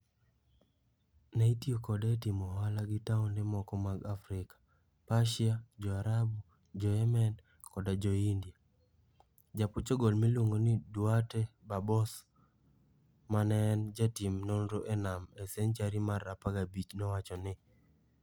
Ne itiyo kode e timo ohala gi taonde moko mag Afrika, Persia, Jo-Arabu, Jo-Yemen, koda Jo-India. Ja-Portugal miluongo ni Duarte Barbosa ma ne en jatim nonro e nam e senchari mar 15 nowacho ni,